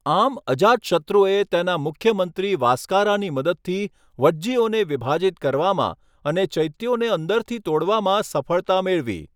આમ, અજાતશત્રુએ તેના મુખ્યમંત્રી વાસકારાની મદદથી વજ્જીઓને વિભાજિત કરવામાં અને ચૈત્યોને અંદરથી તોડવામાં સફળતા મેળવી.